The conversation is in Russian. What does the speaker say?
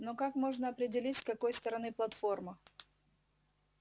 но как можно определить с какой стороны платформа